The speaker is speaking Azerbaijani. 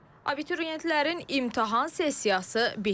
Abituriyentlərin imtahan sessiyası bitdi.